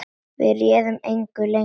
Við réðum engu lengur.